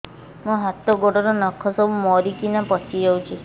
ମୋ ହାତ ଗୋଡର ନଖ ସବୁ ମରିକିନା ପଚି ଯାଉଛି